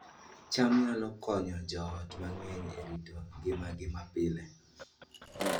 cham nyalo konyo joot mang'eny e rito ngimagi mapile